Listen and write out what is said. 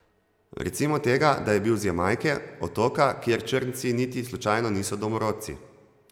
Recimo tega, da je bil z Jamajke, otoka, kjer črnci niti slučajno niso domorodci.